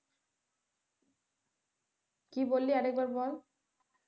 কি বললি আরেকবার বল?